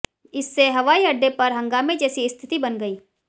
इससे हवाई अड्डे पर हंगामे जैसी स्थिति बन गई